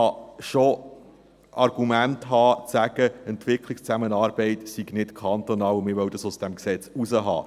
Man kann schon Argumente haben, um zu sagen, Entwicklungszusammenarbeit sei nicht kantonal, man wolle das aus diesem Gesetz draussen haben.